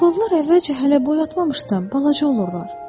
Baobablar əvvəlcə hələ boyatmamışdan balaca olurlar.